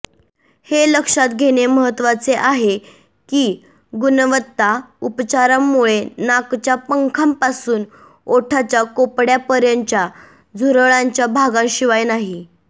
हे लक्षात घेणे महत्वाचे आहे की गुणवत्ता उपचारांमुळे नाकच्या पंखांपासून ओठाच्या कोपड्यापर्यंतच्या झुरळांच्या भागांशिवाय नाही